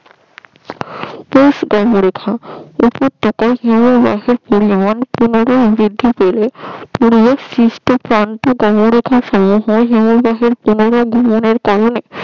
হিমভহ পরিমান পুনারাই ব্রিধি পেলে